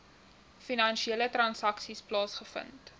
finansiële transaksies plaasgevind